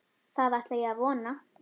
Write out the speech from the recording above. Það ætla ég að vona.